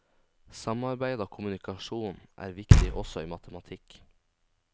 Samarbeid og kommunikasjon er viktig også i matematikk.